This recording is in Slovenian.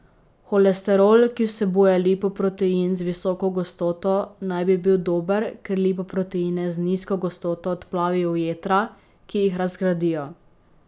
Holesterol, ki vsebuje lipoprotein z visoko gostoto, naj bi bil dober, ker lipoproteine z nizko gostoto odplavi v jetra, ki jih razgradijo.